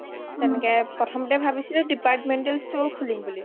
অ তেনেকে প্ৰথমতে ভাবিছিলো departmental store খুলিম বুলি